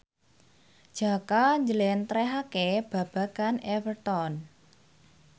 Jaka njlentrehake babagan Everton